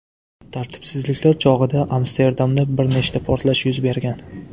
Tartibsizliklar chog‘ida Amsterdamda bir nechta portlash yuz bergan .